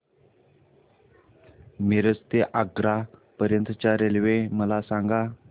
मिरज ते आग्रा पर्यंत च्या रेल्वे मला सांगा